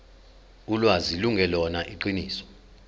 ulwazi lungelona iqiniso